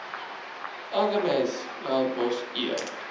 aggeneys melkbos e